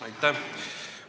Aitäh!